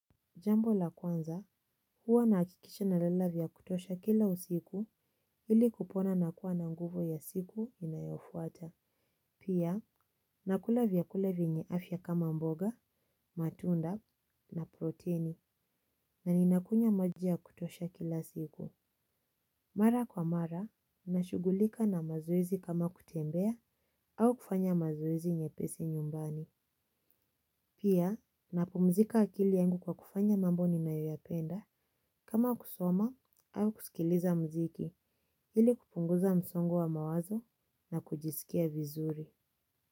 Jambo la kwanza, huwa nahakikisha nalala vya kutosha kila usiku ili kupona na kuwa na nguvu ya siku inayofuata. Pia, nakula vyakula vyenye afya kama mboga, matunda na proteni na ninakunywa maji ya kutosha kila siku. Mara kwa mara, nashughulika na mazoezi kama kutembea au kufanya mazoezi nyepesi nyumbani. Pia napumzika akili yangu kwa kufanya mambo ninayoyapenda. Kama kusoma au kusikiliza muziki ili kupunguza msongo wa mawazo na kujisikia vizuri.